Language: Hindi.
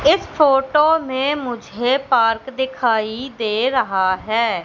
इस फोटो में मुझे पार्क दिखाई दे रहा है।